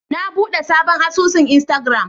Na bude sabon asusun Instagram.